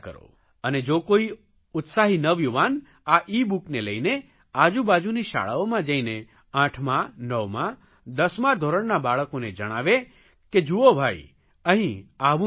અને જો કોઇ ઉત્સાહી નવયુવાન આ ઇબુકને લઇને આજુબાજુની શાળાઓમાં જઇને આઠમા નવમા દસમા ધોરણના બાળકોને જણાવે કે જુઓ ભાઇ અહીં આવું થયું